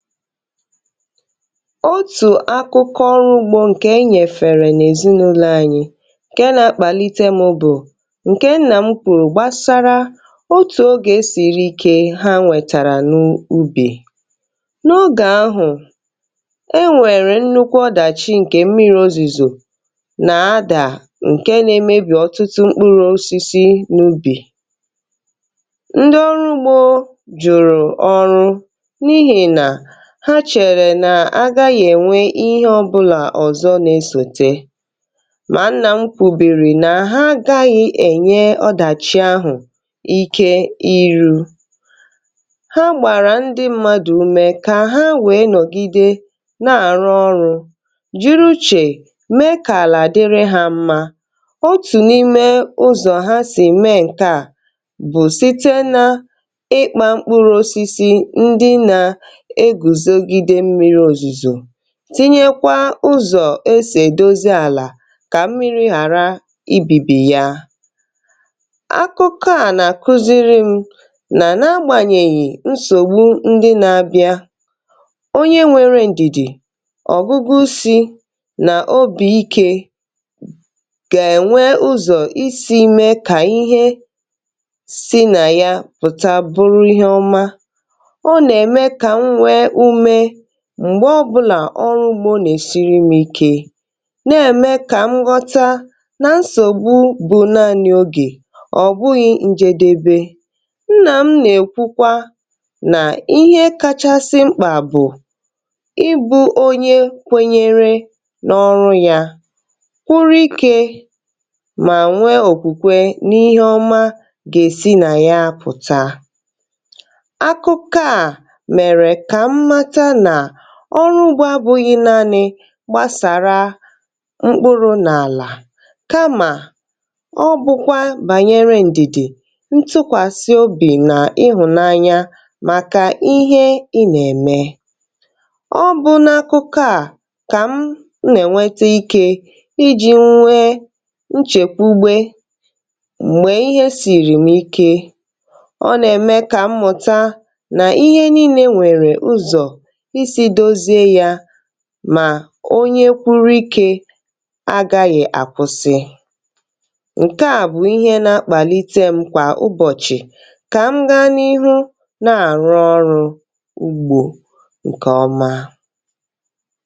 ótù akụkọ ọrụ ugbȯ ǹkè enyèfèrè n’èzìnụlọ̇ anyi, ǹke nȧ-ȧkpàlite mụ̇ bụ̀ ǹkè nnà mkpùrụ̀ gbasara otù ogè siri ike ha nwètàrà n’ubì. n’ogè ahụ̀ e nwèrè nnukwu ọdàchi ǹkè mmiri o zìzò nà adà, ǹke nȧ-emebì ọtụtụ mkpụrụ̇ osisi n’ubì, ndị ọrụ ugbȯ jụ̀rụ̀ ọrụ ha, chèrè nà agaghi̇ ènwe ihe ọ̀bụlà ọ̀zọ nà esòte. mà nà m kwùbìrì nà ha agaghi̇ ènye ọdàchi ahụ̀ ike iru ha, gbàrà ndi mmadụ̀ ume kà ha wee nọ̀gide na-àrụ ọrụ̇, jiri uchè mee kà àlà dịrị hȧ mmȧ. um otù n’ime ụzọ̀ ha sì mee ǹkè a bụ̀ site n’ịkpȧ mkpụrụ osisi, tinyekwa ụzọ̀ esè dozi àlà kà mmiri̇ ghàra ibìbì ya. akụkọ̇ à nà kụziri mụ̇ nà nȧ-agbànyèghì nsògbu, ndi nȧ-abịa onye nwėrė ǹdìdì, ọ̀gụgụ isi̇ nà obì ikė gà-ènwe ụzọ̀ isi̇ mee kà ihe si nà ya pụ̀ta buru ihe ọma. m̀gbè ọbụlà ọrụ ụmụ̀ nà-esirimike, na-ème kà m ghọta nà nsògbu bụ̀ na n’ogè, ọ̀ bụghị̇ ǹjedebe. nnà m nà-èkwukwa nà ihe kachasị mkpà bụ̀ ibu̇ onye kwenyere n’ọrụ ya, kwụọ ikė mà nwee òkwùkwe n’ihe ọma gà-èsi nà ya pụ̀ta. ọrụ ugbȯ abughi naȧnị̇ gbasàra mkpụrụ n’àlà, kamà ọ bụ̀kwa bànyere ǹdìdè, ntụkwàsị obì nà ịhụ̀nanya màkà ihe ị nà-ème. ọ bụ̀ n’akụkụ à kà m nà-ènwete ikė iji̇ nwee nchèkwu ugbė, m̀gbè ihe sìrìm ike, ọ nà-ème kà mmụ̀ta nà ihe niile nwèrè ụzọ̀, mà onye kwụrụ ikė agȧghị̀ àkwụsị. ǹkè à bụ̀ ihe nȧ-ȧkpàlite m kwà ụbọ̀chị̀ kà m gȧ n’ihu na-àrụ ọrụ̇ ugbȯ ǹkè ọma.